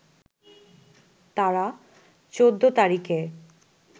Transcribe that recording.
তারা ১৪ তারিখে